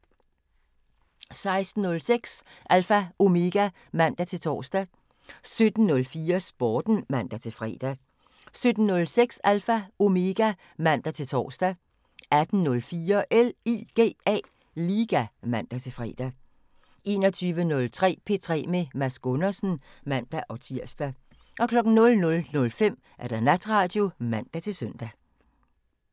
16:06: Alpha Omega (man-tor) 17:04: Sporten (man-fre) 17:06: Alpha Omega (man-tor) 18:04: LIGA (man-fre) 21:03: P3 med Mads Gundersen (man-tir) 00:05: Natradio (man-søn)